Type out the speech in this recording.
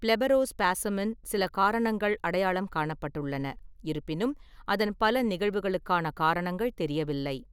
பிளெபரோஸ்பாஸமின் சில காரணங்கள் அடையாளம் காணப்பட்டுள்ளன; இருப்பினும், அதன் பல நிகழ்வுகளுக்கான காரணங்கள் தெரியவில்லை.